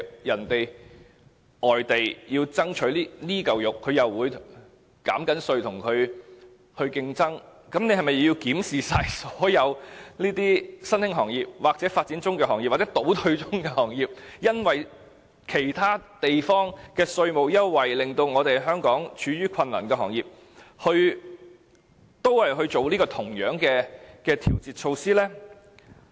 如外地希望爭取這塊"肉"而減稅以作競爭，那麼，政府是否要檢視香港所有新興行業、發展中行業或倒退中的行業，檢視因為其他地方的稅務優惠而處於困難的行業，並提供同樣的調節措施呢？